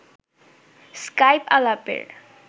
Skype আলাপের